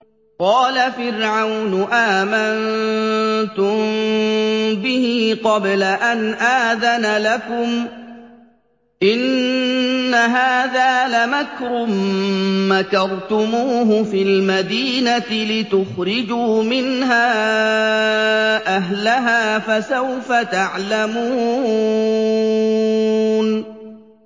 قَالَ فِرْعَوْنُ آمَنتُم بِهِ قَبْلَ أَنْ آذَنَ لَكُمْ ۖ إِنَّ هَٰذَا لَمَكْرٌ مَّكَرْتُمُوهُ فِي الْمَدِينَةِ لِتُخْرِجُوا مِنْهَا أَهْلَهَا ۖ فَسَوْفَ تَعْلَمُونَ